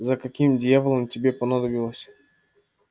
за каким дьяволом тебе понадобилось